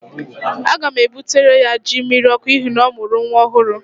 Aga m ebutere ya jí mmiriọkụ n'ihi na ọ mụrụ nwa ọhụrụ